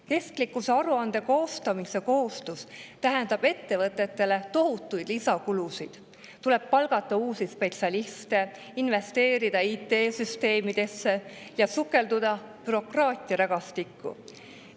Kestlikkusaruande koostamise kohustus tähendab ettevõtetele tohutuid lisakulusid: tuleb palgata uusi spetsialiste, investeerida IT‑süsteemidesse ja sukelduda bürokraatiarägastikku.